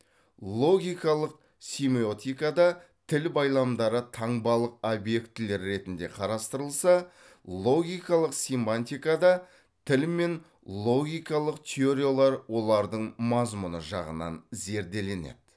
логикалық семиотикада тіл байламдары таңбалық объектілер ретінде қарастырылса логикалық семантикада тіл мен логикалық теориялар олардың мазмұны жағынан зерделенеді